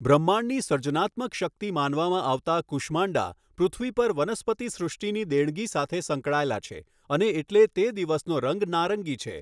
બ્રહ્માંડની સર્જનાત્મક શક્તિ માનવામાં આવતા, કુષ્માંડા પૃથ્વી પર વનસ્પતિ સૃષ્ટિની દેણગી સાથે સંકળાયેલા છે અને એટલે તે દિવસનો રંગ નારંગી છે.